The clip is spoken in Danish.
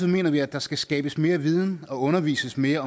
mener vi at der skal skabes mere viden og undervises mere